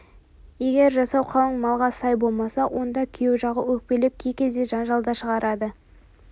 егер жасау қалыңмалға сай болмаса онда күйеу жағы өкпелеп кей кезде жанжал да шығарады